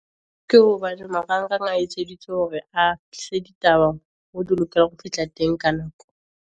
Ke ho bane marang-rang a etsediitswe hore a ditaba moo dilokelang ho fihla teng ka nako.